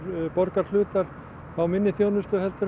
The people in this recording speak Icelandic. borgarhlutar fá minni þjónustu en